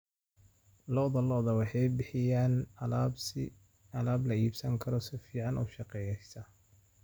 Lo'da lo'da waxay bixiyaan alaab la iibsan karo oo si fiican u shaqeysa.